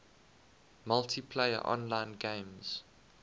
multiplayer online games